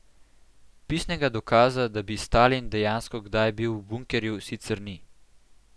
Pisnega dokaza, da bi Stalin dejansko kdaj bil v bunkerju, sicer ni.